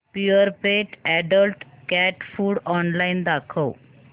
Purepet adult cat food online दाखव